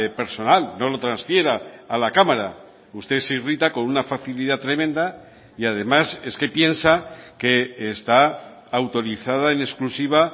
personal no lo transfiera a la cámara usted se irrita con una facilidad tremenda y además es que piensa que está autorizada en exclusiva